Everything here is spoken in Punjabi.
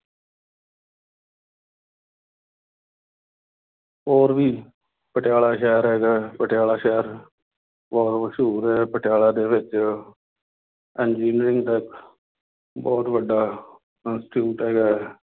ਹੋਰ ਵੀ ਪਟਿਆਲਾ ਸ਼ਹਿਰ ਹੈਗਾ, ਪਟਿਆਲਾ ਸ਼ਹਿਰ ਬਹੁਤ ਮਸ਼ਹੂਰ ਹੈ। ਪਟਿਆਲਾ ਦੇ ਵਿੱਚ ਇੰਜੀਅਰਿੰਗ ਦਾ ਬਹੁਤ ਵੱਡਾ ਇੰਸਟੀਚਿਊਟ ਹੈਗਾ ਹੈ।